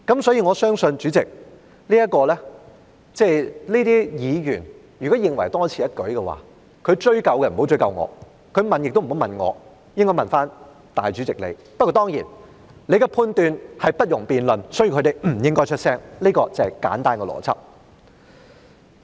所以，主席，認為這項修正案是多此一舉的議員，他不要追究我，也不要問我，他應該問主席你，但當然，你的判斷是不容辯論的，所以他們不應該出聲，這便是簡單的邏輯。